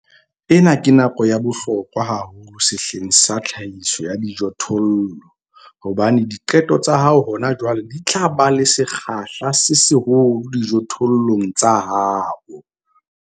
Ena ke nako ya bohlokwa haholo sehleng sena sa tlhahiso ya dijothollo hobane diqeto tsa hao hona jwale di tla ba le sekgahla se seholo dijothollong tsa hao.